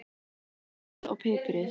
Saltið vel og piprið.